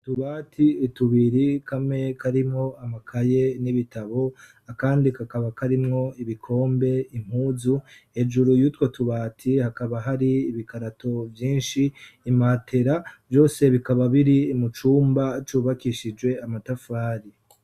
Tubati itubiri kame karimwo amakaye n'ibitabo akandi kakaba karimwo ibikombe impuzu ejuru yutwa tubati hakaba hari ibikarato vyinshi imatera vyose bikaba biri imucumba cubakishijwe amatafari.